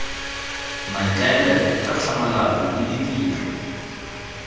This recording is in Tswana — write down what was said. maikaelelo ka tlhamalalo le ditiro